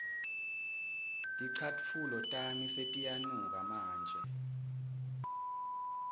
ticatfulo tami setiyanuka manje